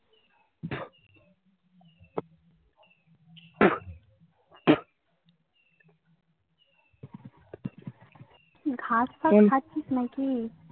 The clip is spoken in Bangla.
ঘাস ফাঁস খাচ্ছিস নাকি?